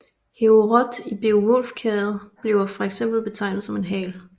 Heorot i Beovulfkvadet bliver fx betegnet som en hal